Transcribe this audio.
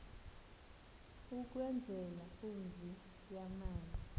ukwenzela umzi yamana